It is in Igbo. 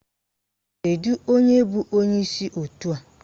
Kedu onye bụ onyeisi òtù a?